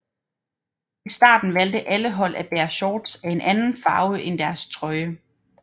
I starten valgte alle hold at bære shorts af en anden farve end deres trøje